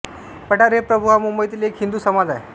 पाठारे प्रभु हा मुबंईतील एक हिन्दु समाज आहे